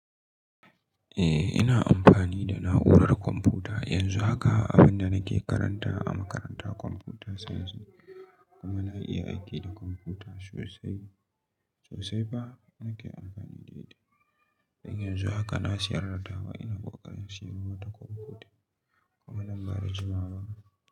Eh, ina amfani da na'urar kwamfuta yanzu haka, abin da nake karantawa a makaranta computer science. Kuma na iya aiki da kwamfuta sosai, sosai fa nake amfani da ita. Yanzu haka na siyar da ta wa ina ƙoƙarin siyan wata kwamfuta kuma nan ba da jimawa ba.